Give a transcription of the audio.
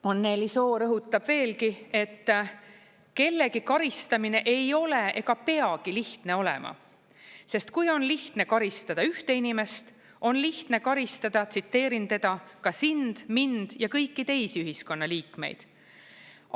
Anneli Soo rõhutab veelgi, et kellegi karistamine ei ole ega peagi lihtne olema, sest kui on lihtne karistada ühte inimest, on lihtne karistada, tsiteerin teda, ka sind, mind ja kõiki teisi ühiskonna liikmeid.